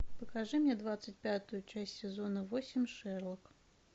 покажи мне двадцать пятую часть сезона восемь шерлок